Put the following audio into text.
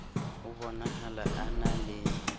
ho bonahala a na le